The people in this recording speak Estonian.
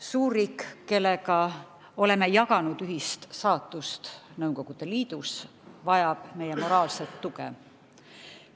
Suurriik, kellega oleme jaganud ühist saatust Nõukogude Liidus, vajab meie moraalset tuge.